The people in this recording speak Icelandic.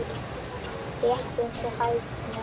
Rétt eins og hæðni.